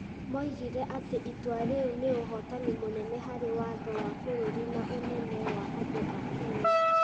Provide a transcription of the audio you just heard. moigire atĩ itua rĩu nĩ ũhootani mũnene harĩ watho wa bũrũri na ũnene wa andũ a Kenya.